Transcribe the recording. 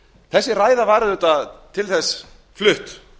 þessi ræða var auðvitað til þess flutt